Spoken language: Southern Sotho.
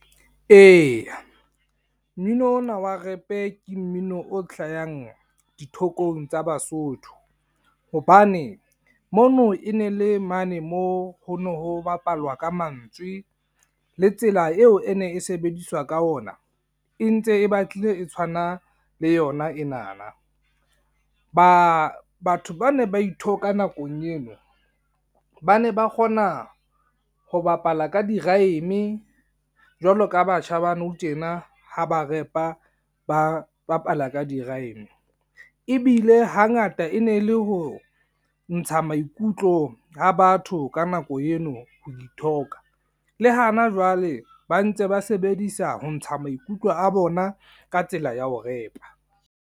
Eya, mmino ona wa rap-e ke mmino o hlayang ditlhokong tsa Basotho. Hobane mono e ne le mane moo ho no ho bapalwa ka mantswe. Le tsela eo e ne e sebediswa ka ona, e ntse e batlile e tshwana le yona enana. Ba batho ba ne ba ithoka nakong eno, ba ne ba kgona ho bapala ka di-rhyme, jwalo ka batjha ba nou tjena, ha ba rap-a ba bapala ka di-rhyme. Ebile hangata e ne le ho ntsha maikutlo ha batho ka nako eno ho ithoka. Le hana jwale ba ntse ba sebedisa ho ntsha maikutlo a bona ka tsela ya ho rap-a.